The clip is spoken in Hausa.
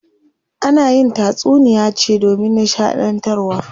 Ana yin tatsuniya ce domin nishaɗantarwa.